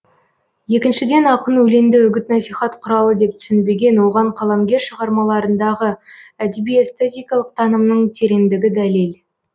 екіншіден ақын өлеңді үгіт насихат құралы деп түсінбеген оған қаламгер шығармаларындағы әдеби эстетикалық танымның тереңдігі дәлел